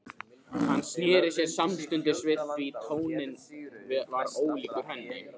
Hann sneri sér samstundis við því tónninn var ólíkur henni.